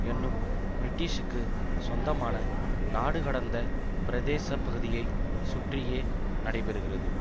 என்னும் பிரிட்டிஷிக்கு சொந்தமான நாடுகடந்த பிரதேசப்பகுதியைச் சுற்றியே நடைபெறுகிறது